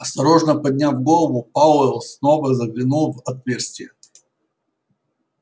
осторожно подняв голову пауэлл снова заглянул в отверстие